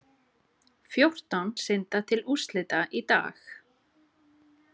Fjórtán synda til úrslita í dag